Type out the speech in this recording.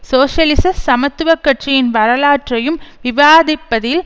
சோசியலிச சமத்துவ கட்சியின் வரலாற்றையும் விவாதிப்பதில்